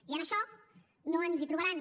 i en això no ens hi trobaran